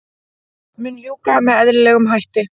Mun ljúka með eðlilegum hætti